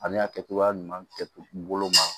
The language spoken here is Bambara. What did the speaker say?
Ani a kɛcogoya ɲuman kɛ bolo ma